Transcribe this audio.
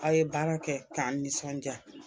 Aw ye baara kɛ k'an nisɔndiya